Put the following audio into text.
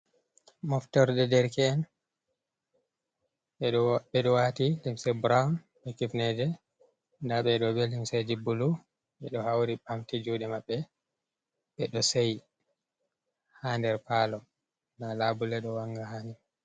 Moftorde derki’en ɓeɗo wati limse brown be kifneje, nda ɓe ɗo be llimseji bulu, ɓe ɗo hauri ɓamti juɗe maɓɓe, ɓe ɗo shei ha nder palo nda labule ɗo wanga hani.